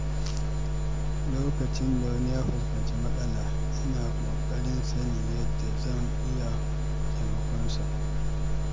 Lokacin da wani ya fuskanci matsala, ina ƙoƙarin sanin yadda zan iya taimakonsa.